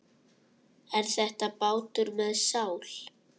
Er þetta bátur með sál?